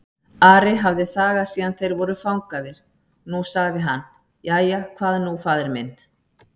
Ari hafði þagað síðan þeir voru fangaðir, nú sagði hann:-Jæja, hvað nú faðir minn?